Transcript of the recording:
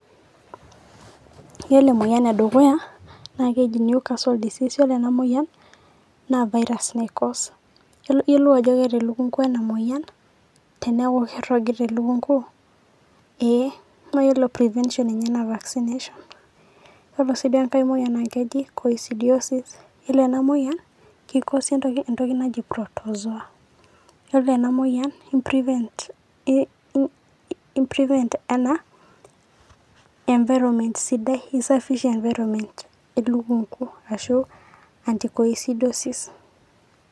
Yiolo emoyian edukuya, naa keji neucasol disease na ore ena moyian, na virus nai cause. Yiolo aje eeta elukunkui ena moyian, teeku kirragita elukunku, ee na ore prevention enye na vaccination. Ore ake si duo enkae moyian naa keji coisidioisis. Yiolo enamoyian ki cause entoki naji protozoa. Ore ena moyian i prevent enaa environment sidai. Isafisha environment elukunku ashu anti cosidioisis.